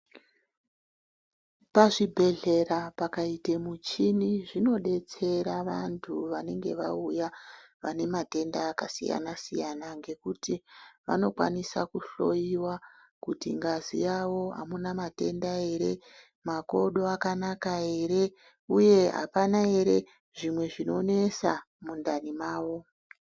Pazvibhedhlera pakaite muchini zvinodetsera vantu vanenge vauya vane matenda akasiyana-siyana, ngekuti vanokwanisa kuhloyiwa kuti ngazi yavo hamuna matenda ere, makodo akanaka ere uye hapana ere zvimwe zvinonesa mundani mavo.